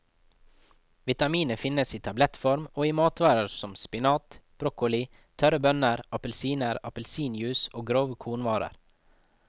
Vitaminet finnes i tablettform og i matvarer som spinat, broccoli, tørre bønner, appelsiner, appelsinjuice og grove kornvarer.